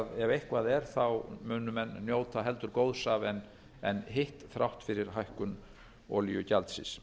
að ef eitthvað er muni menn njóta heldur góðs af en hitt þrátt fyrir hækkun olíugjaldsins